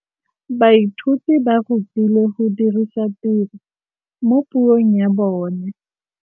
Baithuti ba rutilwe go dirisa tirwa mo puong ya bone.